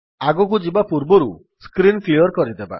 ଆଗକୁ ଯିବା ପୂର୍ବରୁ ସ୍କ୍ରୀନ୍ କ୍ଲିଅର୍ କରିଦେବା